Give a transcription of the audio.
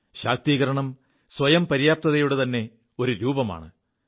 ശാക്തീകരണം സ്വയം പര്യാപ്തതയുടെ ത െഒരു രൂപമാണ്